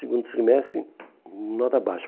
Segundo trimestre, nota baixa.